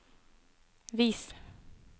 vis